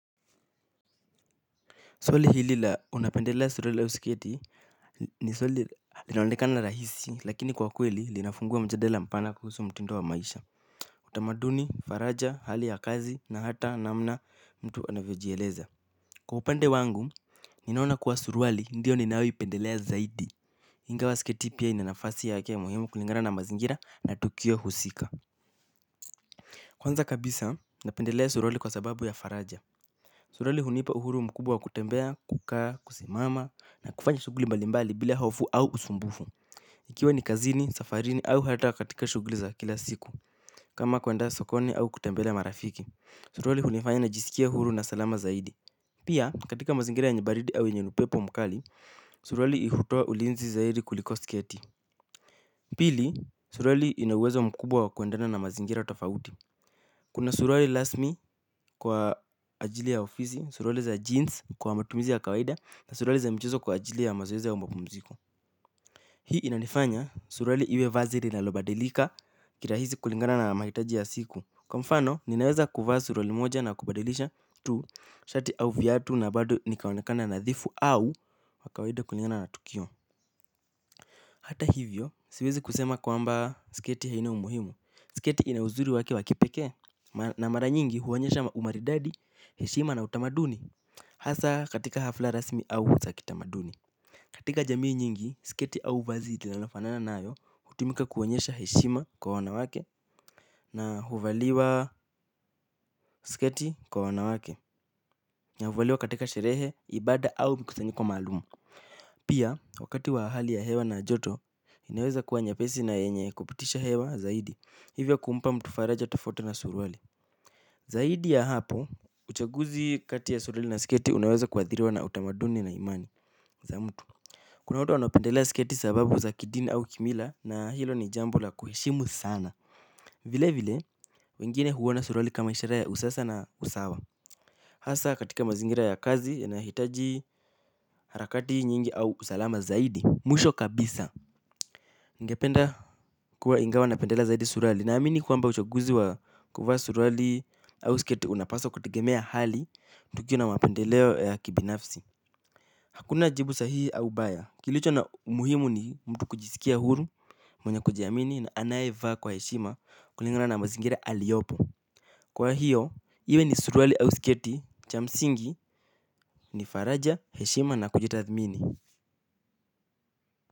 Swali hili la unapendelea surwali au sketi ni swali linaonekana rahisi lakini kwa kweli linafungua mjadala mpana kuhusu mtindo wa maisha. Utamaduni, faraja, hali ya kazi na hata namna mtu anavyojieleza. Kwa upande wangu, ninaona kuwa surwali ndiyo ninayo ipendelea zaidi. Ingawa sketi pia ina nafasi yake muhimu kulingana na mazingira na tukio husika. Kwanza kabisa, napendelea surwali kwa sababu ya faraja. Surwali hunipa uhuru mkubwa wa kutembea, kukaa, kusimama na kufanya shughuli mbalimbali bila hofu au usumbufu. Ikiwa ni kazini, safarini au hata katika shughuli za kila siku kama kwenda sokoni au kutembelea marafiki. Surwali unifanya ni jiskie huru na salama zaidi. Pia katika mazingira yenyebaridi au yenye upepo mkali, surwali ihutoa ulinzi zaidi kuliko sketi. Pili, surwali inauwezo mkubwa wa kuendana na mazingira tofauti. Kuna surwali rasmi kwa ajili ya ofizi, surwali za jeans kwa matumizi ya kawaida na surwali za mchezo kwa ajili ya mazoezi aumapumziko. Hii inanifanya surwali iwe vazi linalobadilika kilahizi kulingana na mahitaji ya siku. Kwa mfano, ninaweza kuvaa surwali moja na kubadilisha tu, shati au viatu na bado nikaonekana nadhifu au kwa kawaida kulingana na tukio. Hata hivyo, siwezi kusema kwa mba sketi haina umuhimu. Sketi ina uzuri wake wakipekee. Na mara nyingi huonyesha umaridadi, heshima na utamaduni. Hasa katika hafla rasmi au za kitamaduni katika jamii nyingi, sketi au vazi linalofanana nayo utumika kuonyesha heshima kwa wanawake. Na huvaliwa sketi kwa wanawake. Na huvaliwa katika sherehe, ibada au mikusanyiko maalum. Pia, wakati wa hali ya hewa na ya joto, inaweza kuwa nyepesi na yenye kupitisha hewa zaidi. Hivyo kumpa mtu faraja tofauti na surwali. Zaidi ya hapo, uchaguzi kati ya surwali na sketi unaweza kuathiriwa na utamaduni na imani za mtu. Kuna watu wanapendela sketi sababu za kidini au kimila na hilo ni jambu la kuheshimu sana. Vile vile, wengine huona surwali kama ishara ya usasa na usawa. Hasa katika mazingira ya kazi, yanayohitaji harakati nyingi au usalama zaidi. Mwisho kabisa ningependa kuwa ingawa na pendelea zaidi surwali. Naamini kwamba uchaguzi wa kuvaa surwali au sketi unapaswa kutegemea hali tukio na mapendeleo ya kibinafsi. Hakuna jibu sahihi au baya. Kilicho na umuhimu ni mtu kujiskia huru, mwenye kujiamini na anaye vaa kwa heshima kulingana na mazingira aliyopo. Kwa hiyo, iwe ni surwali au sketi cha msingi ni faraja heshima na kujitathmini.